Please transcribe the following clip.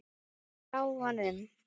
Frá honum!